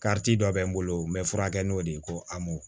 kariti dɔ bɛ n bolo n bɛ furakɛ n'o de ye ko a mɔn